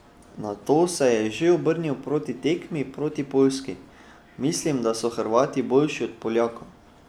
Nato se je že obrnil proti tekmi proti Poljski: "Mislim, da so Hrvati boljši od Poljakov.